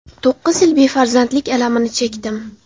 To‘qqiz yil befarzandlik alamini chekdim.